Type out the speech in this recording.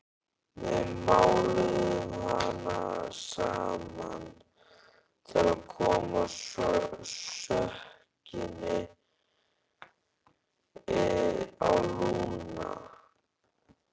Við máluðum hana saman til að koma sökinni á Lúnu.